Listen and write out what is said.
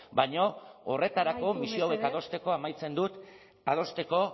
baina horretarako misio amaitu mesedez hauek adosteko amaitzen dut